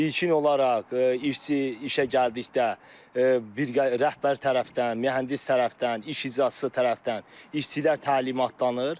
İlkin olaraq işçi işə gəldikdə bir rəhbər tərəfdən, mühəndis tərəfdən, iş icraçısı tərəfdən işçilər təlimatlanır.